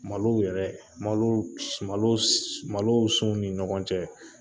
Malo yɛrɛ malo sun ni ɲɔgɔn cɛ